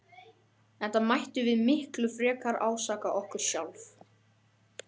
Enda mættum við miklu frekar ásaka okkur sjálf.